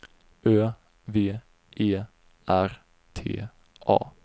Ö V E R T A